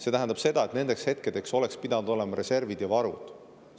See tähendab seda, et nendeks hetkedeks oleks pidanud olema reservid ja varud.